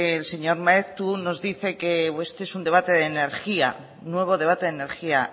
el señor maeztu nos dice que este es un debate de energía nuevo debate de energía